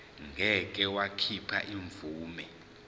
ngeke wakhipha imvume